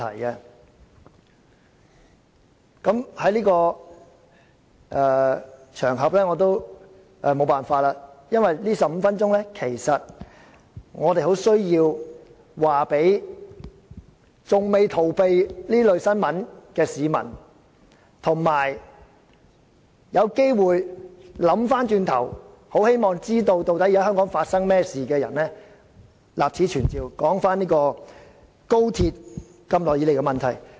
在今天這個場合，我們很需要在這15分鐘立此存照，告訴那些仍未逃避這類新聞的市民，以及那些有機會回頭想一想，希望知道香港現正發生甚麼事情的人，究竟高鐵一直以來存在甚麼問題？